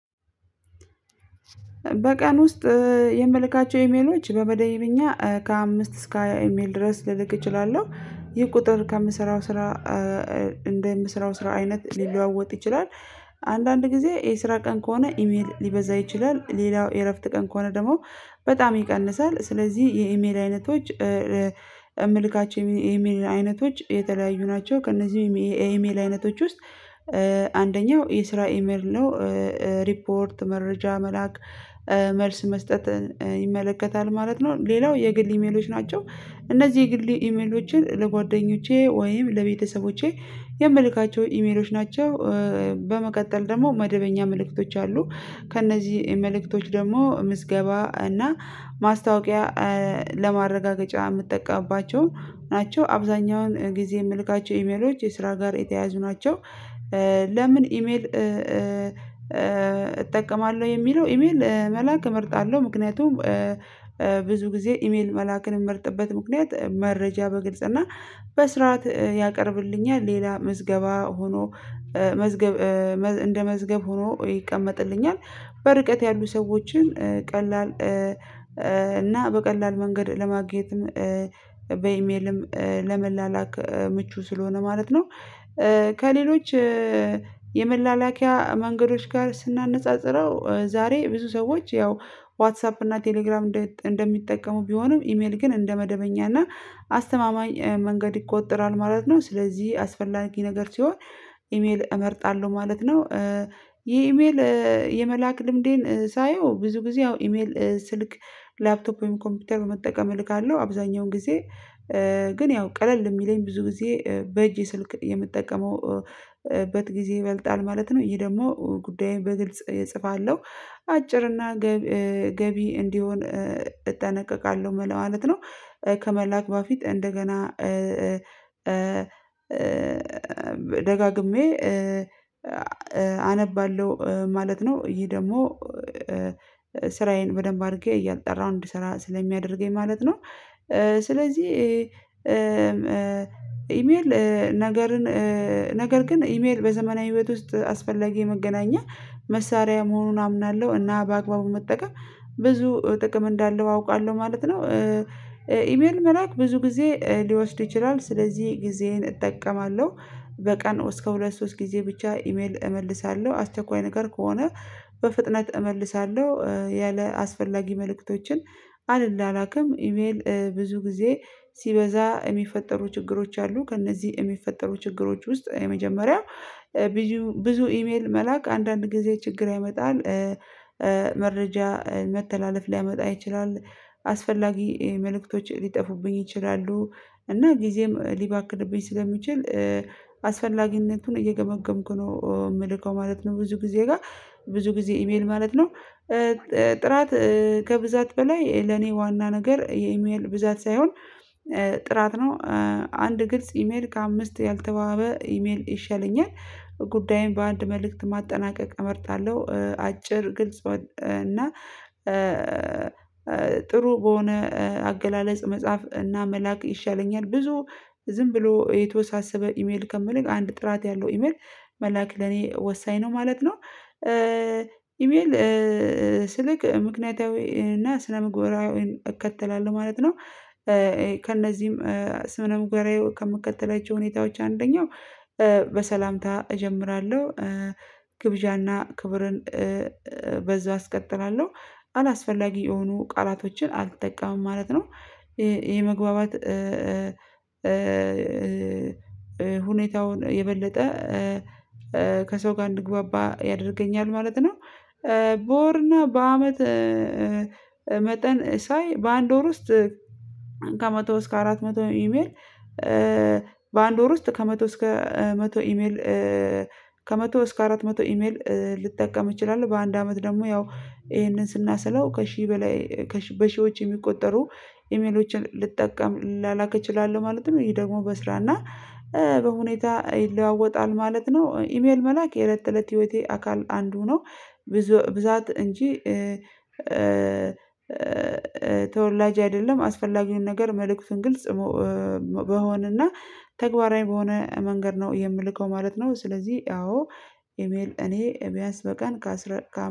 በቀን ውስጥ የምልካቸው ኢሜሎች በመደብእኛ ከአምስት እስከ ሃያ ኢሜል ድረስ ልልክ እችላለሁ። ይህ ቁጥር ከምሰራው ስራ እንደ የምሰራው ስራ አይነት ሊለዋወጥ ይችላል። አንዳንድ ጊዜ የስራ ቀን ከሆነ ኢሜል ሊበዛ ይችላል ሌላው የእረፍት ቀን ከሆነ ደግሞ በጣም ይቀንሳል ስለዚህ የኢሜል አይነቶች። የምልካቸው የኢሜል አይነቶች የተለያዩ ናቸው ከእነዚህም የኢሜል አይነቶች ውስጥ አንደኛው የስራ ኢሜል ነው። ሪፖርት መረጃ መላክ መልስ መስጠትን ይመለከታል ማለት ነው። ሌላው የግል ኢሜሎች ናቸው። እነዚህ የግሌ ኢሜሎችን ለጓደኞቼ ወይም ለቤተሰቦቼ የምልካቸው ኢሜሎች ናቸው። በመቀጠል ደግሞ መደበኛ መልእክቶች አሉ ከእነዚህ መልእክቶች ደግሞ ምዝገባ እና ማስታወቂያ ለማረጋገጫ የምጠቀምባቸው ናቸው አብዛኛውን ጊዜ የምልካቸው ኢሜሎች የስራ ጋር የተያዙ ናቸው። ለምን ኢሜል እጠቀማለሁ የሚለው ኢሜል መላክ እመርጣለሁ ምክንያቱም። ብዙ ጊዜ ኢሜል መላክን የምመርጥበት ምክንያት መረጃ በግልጽ እና በስርዓት ያቀርብልኛል። ሌላ ምዝገባ ሆኖ መዝገብ እንደ መዝገብ ሆኖ ይቀመጥልኛል። በርቀት ያሉ ሰዎችን ቀላል እና በቀላል መንገድ ለማግኘትም በኢሜልም ለመላላክ ምቹ ስለሆነ ማለት ነው። ከሌሎች የመላላኪያ መንገዶች ጋር ስናነጻጽረው ዛሬ ብዙ ሰዎች ያው ዋትሳፕ እና ቴሌግራም እንደሚጠቀሙ ቢሆኑም ኢሜል ግን እንደመደበኛ እና አስተማማኝ መንገድ ይቆጠራል ማለት ነው። ስለዚህ አስፈላጊ ነገር ሲሆን ኢሜል እመርጣለሁ ማለት ነው። ይሄ ኢሜል የመላክ ልምዴን ሳየው ብዙ ጊዜ ያው ኢሜል ስልክ ላፕቶፕ ወይም ኮምፒውተር መጠቀም እልካለሁ አብዛኛውን ጊዜ። ግን ያው ቀለል የሚለኝ ብዙ ጊዜ በእጄ ስልክ የምጠቀመው በት ጊዜ ይበልጣል ማለት ነው። ይሄ ደግሞ ጉዳዬን በግልጽ እጽፋለሁ አጭርና ገቢ እንዲሆን እጠነቀቃለሁ ለማለት ነው። ከመላክ በፊት እንደገና ደጋግሜ አነባለሁ ማለት ነው። ይሄ ደግሞ ስራዬን በደንብ አድርጌ እያጣራሁ እንዲሰራ ስለሚያደርገኝ ማለት ነው። ስለዚህ ኢሜል ነገርን ነገር ግን ኢሜል በዘመናዊ ቤት ውስጥ አስፈላጊ መገናኛ መሳሪያ መሆኑን አምናለሁ እና በአግባቡ መጠቀም ብዙ ጥቅም እንዳለው አውቃለሁ ማለት ነው። ኢሜል መላክ ብዙ ጊዜ ሊወስድ ይችላል ስለዚህ ጊዜን እጠቀማለሁ። በቀን እስከ ሁለት ሶስት ጊዜ ብቻ ኢሜል እመልሳለሁ አስቸኳይ ነገር ከሆነ በፍጥነት እመልሳለሁ። ያለ አስፈላጊ መልእክቶችን አል ላላክም ኢሜል ብዙ ጊዜ ሲበዛ የሚፈጠሩ ችግሮች አሉ። ከእነዚህ እሚፈጠሩ ችግሮች ውስጥ የመጀመሪያው ብዙ ብዙ ኢሜል መላክ አንዳንድ ጊዜ ችግር ያመጣል። መረጅ መተላለፍ ሊያመጣ ይችላል። አስፈላጊ መልእክቶች ሊጠፉብኝ ይችላሉ እና ጊዜም ሊባክንብኝ ስለሚችል አስፈላጊነቱን እየገመገምኩ ነው የምልከው ማለት ነው። ብዙ ጊዜ ጋር ብዙ ጊዜ ኢሜል ማለት ነው። ጥራት ከብዛት በላይ ለኔ ዋና ነገር የኢሜል ብዛት ሳይሆን ጥራት ነው። አንድ ግልጽ ኢሜል ከአምስት ያልተባበ ኢሜል ይሻለኛል። ጉዳይም በአንድ መልእክት ማጠናቀቅ እመርጣለሁ አጭር ግልጽ ወጥ እና ጥሩ በሆነ አገላለጽ መጽሐፍ እና መላክ ይሻለኛል ብዙ ዝም ብሎ የተወሳሰበ ኢሜል ከምልክ አንድ ጥራት ያለው ኢሜል መላክ ለኔ ወሳኝ ነው ማለት ነው። ኢሜል ስልክ ምክንያታዊ እና ስነምግባራዊ እከተላለሁ ማለት ነው። ከእነዚህም ስምነ ምግብራዊ ከምከተላቸው ሁኔታዎች አንደኛው በ በሰላምታ እጀምራለሁ ግብዣና ክብርን በዛ አስቀጥላለሁ አላስፈላጊ የሆኑ ቃላቶችን አልጠቀምም ማለት ነው። ይሄ ይሄ መግባባት ሁኔታውን የበለጠ ከሰው ጋር እንድግባባ ያደርገኛል ማለት ነው። በወርና በአመት መጠን ሳይ በአንድ ወር ውስጥ ከመቶ እስከ አራት መቶ ኢሜል በአንድ ወር ውስጥ ከመቶ እስከ መቶ ኢሜል ከመቶ እስከ አራት መቶ ኢሜል ልጠቀም እችላለሁ በአንድ አመት ደግሞ ያው ይሄንን ስናሰላው ከሺህ በላይ በሺዎች የሚቆጠሩ ኢሜሎችን ልጠቀም ልላላክ እችላለሁ ማለት ነው። ይሄ ደግሞ በስራ እና በሁኔታ ይለዋወጣል ማለት ነው። ኢሜል መላክ የለት ለት ህይወቴ አካል አንዱ ነው ብዙ ብዛት እንጂ ተወላጅ አይደለም አስፈላጊውን ነገር መልእክቱን ግልጽ በሆነና ተግባራዊ በሆነ መንገድ ነው የምልከው ማለት ነው። ስለዚህ አዎ ኢሜል እኔ በቢያስ በቀን ካስረ